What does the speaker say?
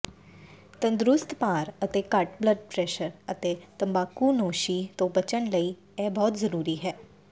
ਤੰਦਰੁਸਤ ਭਾਰ ਅਤੇ ਘੱਟ ਬਲੱਡ ਪ੍ਰੈਸ਼ਰ ਅਤੇ ਤੰਬਾਕੂਨੋਸ਼ੀ ਤੋਂ ਬਚਣ ਲਈ ਇਹ ਬਹੁਤ ਜ਼ਰੂਰੀ ਹੈ